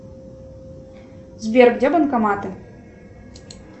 сбер где банкоматы